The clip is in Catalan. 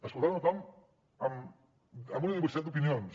escoltant a tothom amb una diversitat d’opinions